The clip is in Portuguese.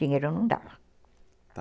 Dinheiro não dava. Tá.